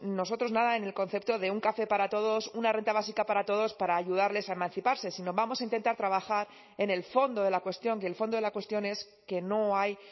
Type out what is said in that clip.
nosotros nada en el concepto de un café para todos una renta básica para todos para ayudarles a emanciparse sino vamos a intentar trabajar en el fondo de la cuestión y el fondo de la cuestión es que no hay